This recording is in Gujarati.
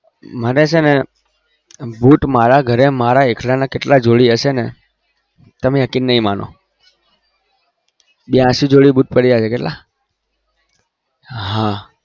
મને છે ને boot મારા ઘરે મારા એકલા ના કેટલા જોડી હશે તમે યકીન નહિ માનો બયાશી જોડી boot પડિયા છે